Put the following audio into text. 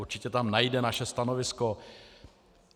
Určitě tam najde naše stanovisko.